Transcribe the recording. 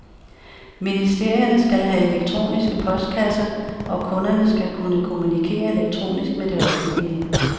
Ministerierne skal have elektroniske postkasser, og kunderne skal kunne kommunikere elektronisk med det offentlige.